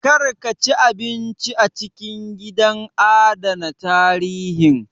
Kar ka ci abinci a cikin gidan adana tarihin